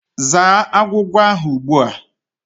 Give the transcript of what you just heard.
Zaa agwugwa ahụ ugbu a!